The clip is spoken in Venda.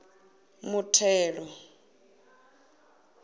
muthelo